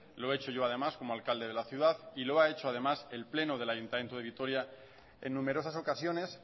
lo he hecho yo además como alcalde de la ciudad y lo ha hecho además el pleno del ayuntamiento de vitoria en numerosas ocasiones